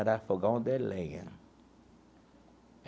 Era fogão de lenha.